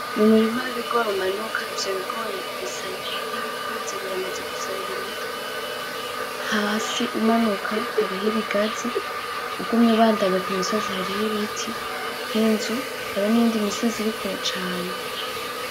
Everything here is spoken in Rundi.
Numurima wibigori umanuka ,ivyo bigori bisa nkibikuze biramaze guserura imitwe , Hasi umanuka hariho ibigazi , ugumye ubandanya kumusozi hariko ibiti ninzu , hariho niyindi misozi iri kure cane .